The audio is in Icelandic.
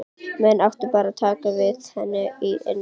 Menn áttu bara að taka við henni af innri þörf.